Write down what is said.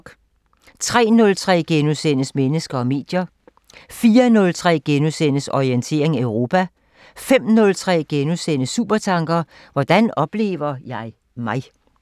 03:03: Mennesker og medier * 04:03: Orientering Europa * 05:03: Supertanker: Hvordan oplever jeg mig?